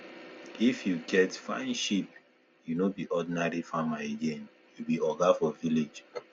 if you get fine sheep you no be ordinary farmer again you be oga for village